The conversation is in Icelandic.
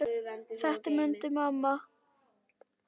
Þetta mundi amma.